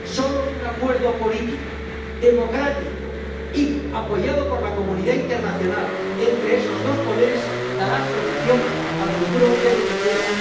Solo un acuerdo político, democrático y apoyado por la comunidad internacional entre esos dos poderes dará solución al futuro de Venezuela.